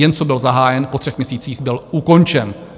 Jen co byl zahájen, po třech měsících byl ukončen.